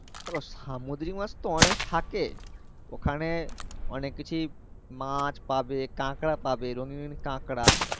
দেখো সামুদ্রিক মাছ তো অনেক থাকে ওখানে অনেক কিছুই মাছ পাবে কাঁকড়া পাবে রঙ্গিন রঙ্গিন কাঁকড়া